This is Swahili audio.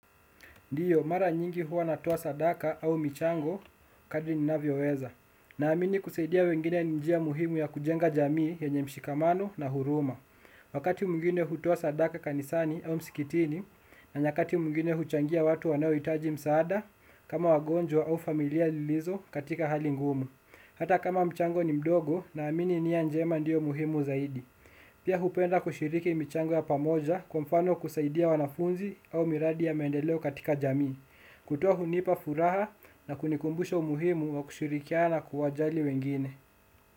Ndio, mara nyingi huwa natoa sadaka au michango, kadri ninavyoweza. Naamini kusaidia wengine ni njia muhimu ya kujenga jamii yenye mshikamano na huruma. Wakati mwingine hutoa sadaka kanisani au msikitini, na nyakati mwingine huchangia watu wanaohitaji msaada kama wagonjwa au familia lilizo katika hali ngumu. Hata kama mchango ni mdogo, naamini nia njema ndiyo muhimu zaidi. Pia hupenda kushiriki michango ya pamoja, kwa mfano kusaidia wanafunzi au miradi ya mendeleo katika jamii. Kutoa hunipa furaha na kunikumbusha umuhimu wa kushirikiana na kuwajali wengine.